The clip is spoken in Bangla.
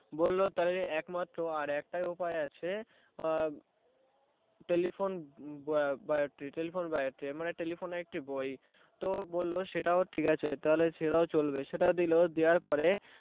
বললো তাহলে একমাত্র আর একটা উপায় আছে telephone telephone biotree মানে telephone এর একটি বই তো বললো সেটাও ঠিকাছে তাহলে সেটাও চলবে সেটাও দিলো দেওয়ার পরে